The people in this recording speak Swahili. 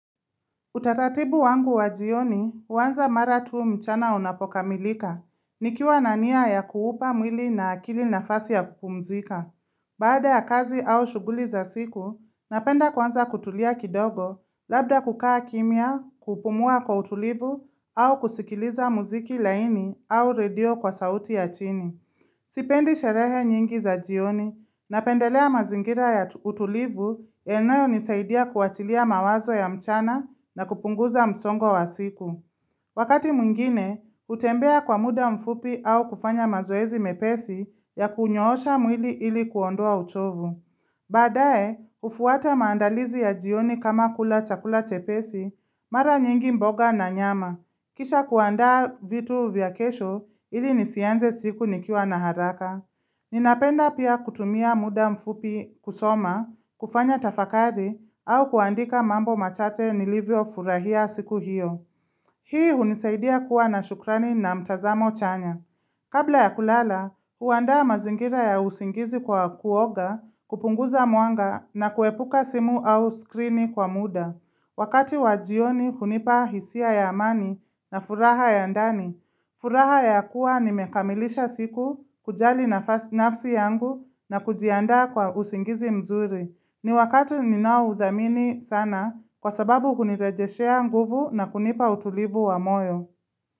Utaratibu wangu wa jioni, huanza mara tu mchana unapokamilika, nikiwa na nia ya kuupa mwili na akili nafasi ya kupumzika. Baada ya kazi au shuguli za siku, napenda kwanza kutulia kidogo, labda kukaa kimya, kupumua kwa utulivu, au kusikiliza mziki laini au radio kwa sauti ya chini. Sipendi sherehe nyingi za jioni, napendelea mazingira ya utulivu yanayonisaidia kuachilia mawazo ya mchana, na kupunguza msongwa wa siku. Wakati mwingine, hutembea kwa muda mfupi, au kufanya mazoezi mepesi ya kunyoosha mwili ili kuondoa uchovu. Baadaye, hufuata maandalizi ya jioni kama kula chakula chepesi, mara nyingi mboga na nyama. Kisha kuandaa vitu vya kesho ili nisianze siku nikiwa na haraka. Ninapenda pia kutumia muda mfupi kusoma, kufanya tafakari au kuandika mambo machache nilivyofurahia siku hiyo. Hii hunisaidia kuwa na shukrani na mtazamo chanya. Kabla ya kulala, huandaa mazingira ya usingizi kwa kuoga, kupunguza mwanga na kuepuka simu au skrini kwa muda. Wakati wa jioni hunipa hisia ya amani na furaha ya ndani. Furaha ya kuwa nimekamilisha siku, kujali nafsi yangu na kujianda kwa usingizi mzuri. Ni wakati ninaoudhamini sana kwa sababu hunirejeshea nguvu na kunipa utulivu wa moyo.